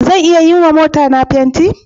Zan iya yiwa motata fenti?